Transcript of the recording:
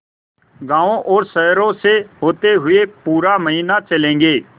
गाँवों और शहरों से होते हुए पूरा महीना चलेंगे